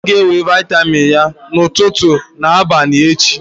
Ọ ga-ewere vịatamin ya ụtụtụ na abalị echi.